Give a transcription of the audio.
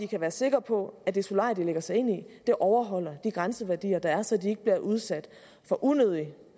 kan være sikre på at det solarium de lægger sig ind i overholder de grænseværdier der er så de ikke bliver udsat for unødig